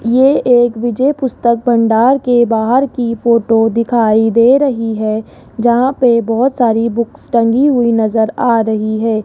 ये एक विजय पुस्तक भंडार के बाहर की फोटो दिखाई दे रही है जहां पे बहोत सारी बुक्स टंगी हुई नजर आ रही है।